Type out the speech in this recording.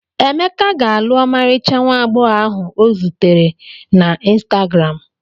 Emeka ga-alụ ọmarịcha nwa agbọghọ ahụ ọ zutere na ịnstagram.